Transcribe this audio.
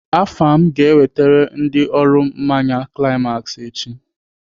Afam ga-ewetere ndị ọrụ mmanya climax echi.